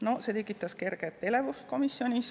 See tekitas komisjonis kerget elevust.